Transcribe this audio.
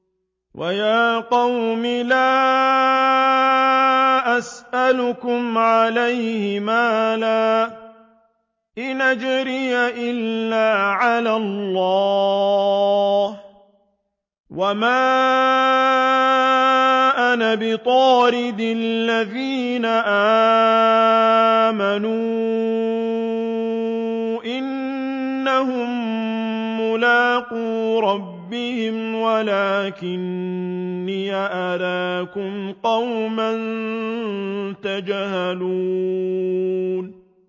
وَيَا قَوْمِ لَا أَسْأَلُكُمْ عَلَيْهِ مَالًا ۖ إِنْ أَجْرِيَ إِلَّا عَلَى اللَّهِ ۚ وَمَا أَنَا بِطَارِدِ الَّذِينَ آمَنُوا ۚ إِنَّهُم مُّلَاقُو رَبِّهِمْ وَلَٰكِنِّي أَرَاكُمْ قَوْمًا تَجْهَلُونَ